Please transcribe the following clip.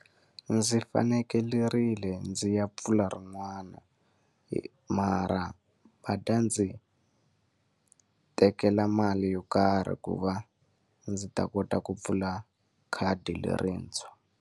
Ndzi fanekerile ndzi ya pfula rin'wana mara va ta ndzi tekela mali yo karhi ku va ndzi ta kota ku pfula khadi lerintshwa.